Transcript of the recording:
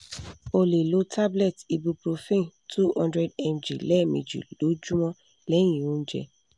o le lo tablet ibuprofen two hundred mg lemeji lojumo lehin ounje